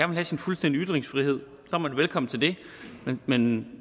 vil have sin fulde ytringsfrihed er man velkommen til det men men